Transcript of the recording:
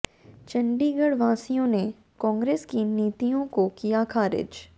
चंडीगढ़ वासियों ने कांग्रेस की नीतियों को किया खारिज